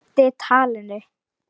Eyddi talinu.